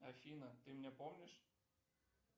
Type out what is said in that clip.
афина ты меня помнишь